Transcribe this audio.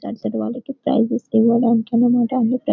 presses ఇవ్వడానికి అన్న మాట --